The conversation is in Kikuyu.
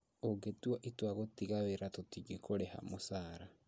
ũngĩtua itua gũtiga wĩra tũtingĩkũrĩha mũcara